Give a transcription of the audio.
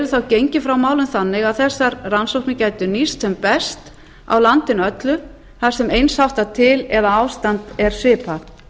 þá gengið frá málum þannig að þessar rannsóknir gætu nýst sem best á landinu öllu þar sem eins háttar til eða ástand er svipað